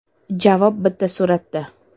Javob bitta suratda .